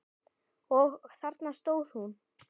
Og þarna stóð hún.